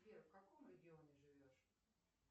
сбер в каком регионе живешь